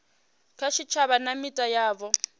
kha tshitshavha na mita yavho